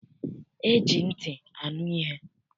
E ji ntị anu ihe.